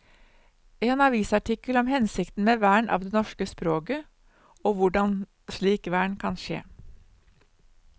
En avisartikkel om hensikten med vern av det norske språket og hvordan slik vern kan skje.